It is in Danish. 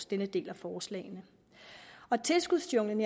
denne del af forslagene tilskudsjunglen